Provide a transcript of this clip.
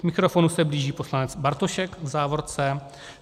K mikrofonu se blíží poslanec Bartošek - v závorce.